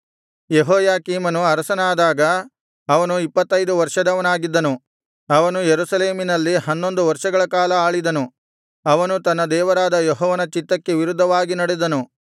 ಯೆಹೋಯಾಕೀಮನು ಅರಸನಾದಾಗ ಅವನು ಇಪ್ಪತ್ತೈದು ವರ್ಷದವನಾಗಿದ್ದನು ಅವನು ಯೆರೂಸಲೇಮಿನಲ್ಲಿ ಹನ್ನೊಂದು ವರ್ಷಗಳ ಕಾಲ ಆಳಿದನು ಅವನು ತನ್ನ ದೇವರಾದ ಯೆಹೋವನ ಚಿತ್ತಕ್ಕೆ ವಿರುದ್ಧವಾಗಿ ನಡೆದನು